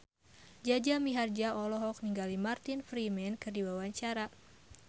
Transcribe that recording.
Jaja Mihardja olohok ningali Martin Freeman keur diwawancara